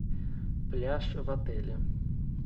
пляж в отеле